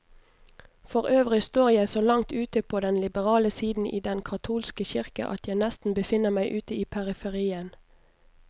Forøvrig står jeg så langt ute på den liberale side i den katolske kirke, at jeg nesten befinner meg ute i periferien.